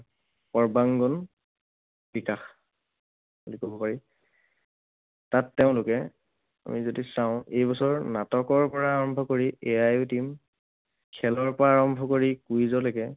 সৰ্বাংগন বিকাশ বুলি কব পাৰি। তাত তেওঁলোকে, আমি যদি চাওঁ, এই বছৰ নাটকৰ পৰা আৰম্ভ কৰি AI team, খেলৰ পৰা আৰম্ভ কৰি quiz লৈকে